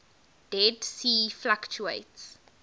dead sea fluctuates